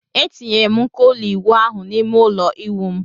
M tinyere nko ụlọ ịwụ ahụ n'ime ụlọ ịwụ m...